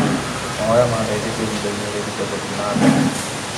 Mahoya mandeithĩtie ihinda-inĩ rĩritũ gũthiĩ nambere.